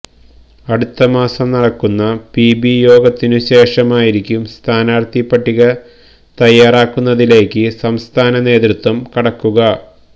അടുത്തമാസം നടക്കുന്ന പിബി യോഗത്തിനു ശേഷമായിരിക്കും സ്ഥാനാര്ഥി പട്ടിക തയാറാക്കുന്നതിലേക്ക് സംസ്ഥാനനേതൃത്വം കടക്കുക